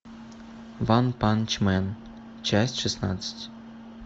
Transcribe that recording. ванпанчмен часть шестнадцать